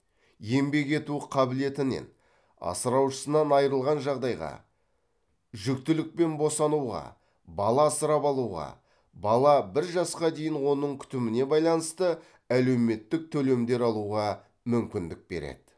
еңбек ету қабілетінен асыраушысынан айырылған жағдайға жүктілік пен босануға бала асырап алуға бала бір жасқа дейін оның күтіміне байланысты әлеуметтік төлемдер алуға мүмкіндік береді